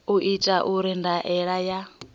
u itwa uri ndaela ya